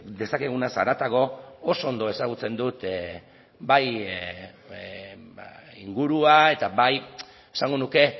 dezakegunaz haratago oso ondo ezagutzen dut bai ingurua eta bai esango nuke